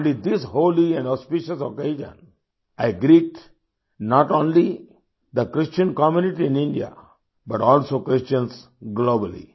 own this holy and auspicious occasion I greet not only the Christian community in India but also Christians globally